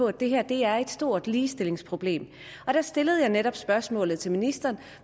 at det her er et stort ligestillingsproblem jeg stillede netop spørgsmålet til ministeren